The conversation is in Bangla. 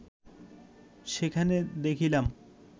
সেখানে দেখিলাম